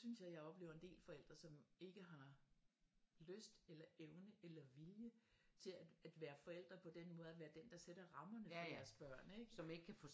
Og så synes jeg at jeg oplever en del forældre som ikke har lyst eller evne eller vilje til at være forældre på den måde at være den som sætter rammerne for deres børn ikke